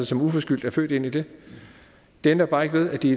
som uforskyldt er født ind i det det ændrer bare ikke ved at de